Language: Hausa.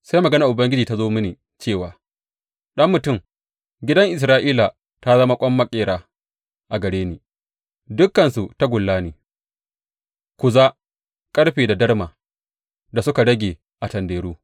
Sai maganar Ubangiji ta zo mini cewa, Ɗan mutum, gidan Isra’ila ta zama ƙwan maƙera a gare ni; dukansu tagulla ne, kuza, ƙarfe da darma da suka rage a tanderu.